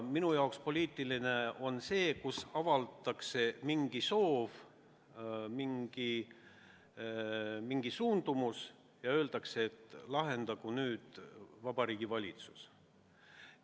Minu arusaama kohaselt on tegu poliitikaga, kui avaldatakse mingi soov, mingi suundumus ja öeldakse, et lahendagu Vabariigi Valitsus.